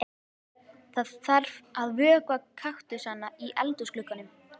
Það þarf að vökva kaktusana í eldhúsglugganum.